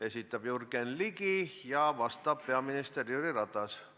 Esitab Jürgen Ligi ja vastab peaminister Jüri Ratas.